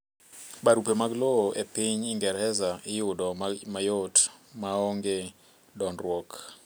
Barupe mag lowo epiny Ingereza iyudo mayot maonge dondruok.